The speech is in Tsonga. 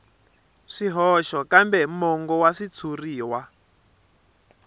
swihoxo kambe mongo wa xitshuriwa